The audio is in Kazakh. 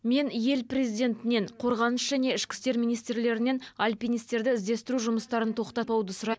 мен ел президентінен қорғаныс және ішкі істер министрлерінен алпинистерді іздестіру жұмыстарын тоқтатпауды сұрайм